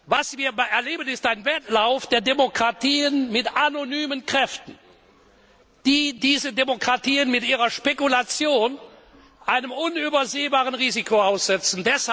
Was wir erleben, ist ein Wettlauf der Demokratien mit anonymen Kräften, die diese Demokratien mit ihrer Spekulation einem unübersehbaren Risiko aussetzen.